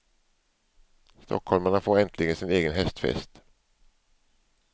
Stockholmarna får äntligen sin egen hästfest.